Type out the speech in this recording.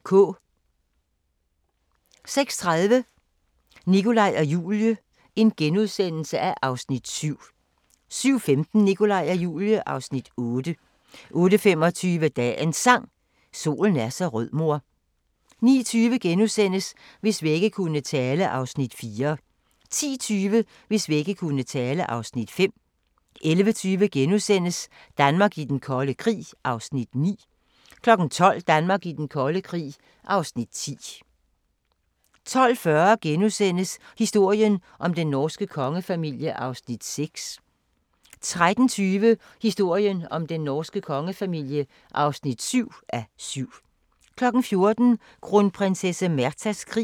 06:30: Nikolaj og Julie (Afs. 7)* 07:15: Nikolaj og Julie (Afs. 8) 08:25: Dagens Sang: Solen er så rød mor 09:20: Hvis vægge kunne tale (Afs. 4)* 10:20: Hvis vægge kunne tale (Afs. 5) 11:20: Danmark i den kolde krig (Afs. 9)* 12:00: Danmark i den kolde krig (Afs. 10) 12:40: Historien om den norske kongefamilie (6:7)* 13:20: Historien om den norske kongefamilie (7:7) 14:00: Kronprinsesse Märthas krig